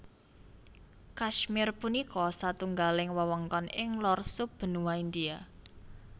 Kashmir punika satunggaling wewengkon ing lor sub benua India